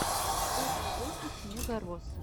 лучший выпуск мегарос